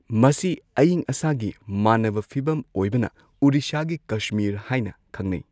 ꯃꯁꯤ ꯑꯌꯤꯡ ꯑꯁꯥꯒꯤ ꯃꯥꯅꯕ ꯐꯤꯚꯝ ꯑꯣꯏꯕꯅ ꯑꯣꯔꯤꯁꯥꯒꯤ ꯀꯁꯃꯤꯔ ꯍꯥꯏꯅ ꯈꯪꯅꯩ꯫